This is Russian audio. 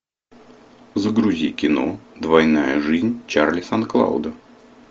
загрузи кино двойная жизнь чарли сан клауда